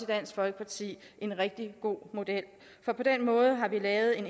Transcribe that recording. dansk folkeparti en rigtig god model for på den måde har vi lavet en